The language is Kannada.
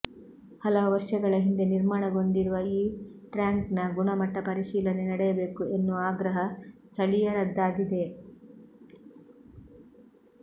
ಹಲವು ವರ್ಷಗಳ ಹಿಂದೆ ನಿರ್ಮಾಣಗೊಂಡಿರುವ ಈ ಟ್ಯಾಂಕ್ನ ಗುಣಮಟ್ಟ ಪರಿಶೀಲನೆ ನಡೆಯಬೇಕು ಎನ್ನುವ ಆಗ್ರಹ ಸ್ಥಳೀಯರದ್ದಾಗಿದೆ